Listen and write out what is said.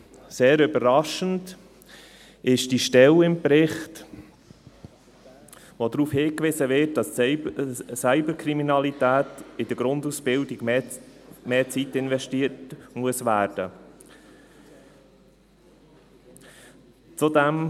Sehr überraschend ist die Stelle im Bericht, wo darauf hingewiesen wird, dass in der Grundausbildung mehr Zeit für das Thema Cyberkriminalität investiert werden muss.